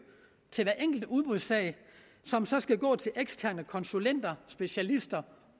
til hver enkelt udbudsag som så skal gå til eksterne konsulenter specialister